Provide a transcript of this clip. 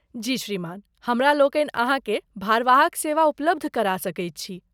जी श्रीमान, हमरा लोकनि अहाँके भारवाहक सेवा उपलब्ध करा सकैत छी।